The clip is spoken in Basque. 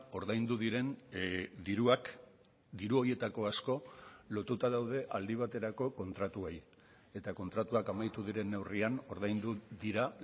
ordaindu diren diruak diru horietako asko lotuta daude aldi baterako kontratuei eta kontratuak amaitu diren neurrian ordaindu dira